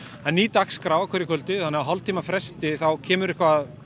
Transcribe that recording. er ný dagskrá á hverju kvöldi þannig að á hálftíma fresti þá kemur eitthvað